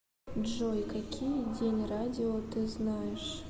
джой какие день радио ты знаешь